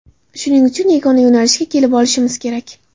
Shuning uchun yagona yo‘nalishga kelib olishimiz kerak.